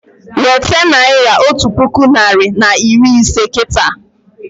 Weta naira otu puku narị na iri ise kịta!